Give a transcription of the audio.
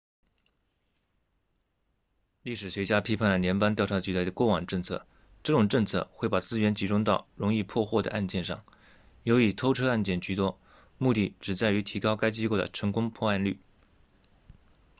历史学家批判了联邦调查局的过往政策这种政策会把资源集中到容易破获的案件上尤以偷车案件居多目的只在于提高该机构的成功破案率